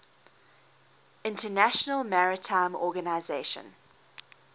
international maritime organization